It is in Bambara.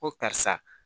Ko karisa